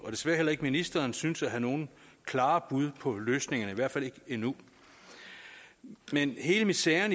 og desværre heller ikke ministeren synes at have nogle klare bud på løsningerne i hvert fald ikke nu men hele miseren